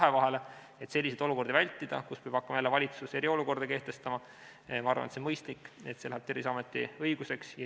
Et vältida selliseid olukordi, kus valitsus peab hakkama jälle eriolukorda kehtestama, ma arvan, on mõistlik, et see läheb Terviseameti õiguseks.